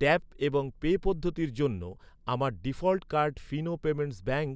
tap এবং pay পদ্ধতির জন্য আমার default card Fino payments bank